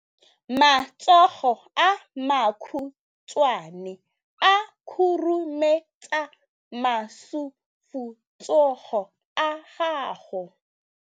Matsogo a makhutshwane a khurumetsa masufutsogo a gago.